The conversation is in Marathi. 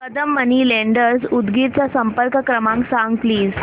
कदम मनी लेंडर्स उदगीर चा संपर्क क्रमांक सांग प्लीज